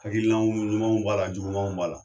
Hakilinaw ɲumanw b'a la jugumanw b'a la.